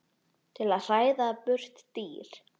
til að hræða burt dýr.